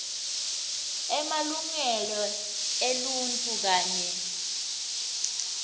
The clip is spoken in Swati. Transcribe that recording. emalungelo eluntfu kanye